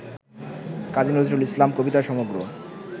কাজী নজরুল ইসলাম কবিতা সমগ্র